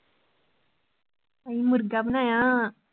ਅੱਸੀਂ ਮੁਰਗਾ ਬਨਾਇਆ